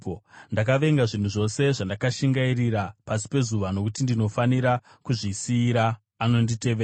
Ndakavenga zvinhu zvose zvandakashingairira pasi pezuva, nokuti ndinofanira kuzvisiyira anonditevera.